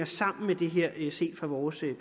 sammen med det her set fra vores